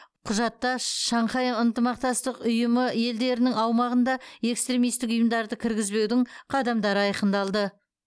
құжатта шанхай ынтымақтастық ұйымы елдерінің аумағында экстремистік ұйымдарды кіргізбеудің қадамдары айқындалды